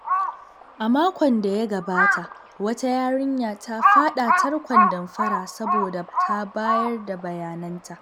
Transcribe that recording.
A makon da ya gabata, wata yarinya ta faɗa tarkon damfara saboda ta bayar da bayananta.